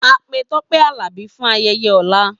A pe Tope Alabi fun ayeye ola.